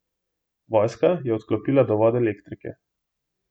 Vojska je odklopila dovod elektrike.